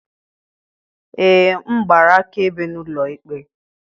Ee m gbara akaebe n'ụlọ ikpe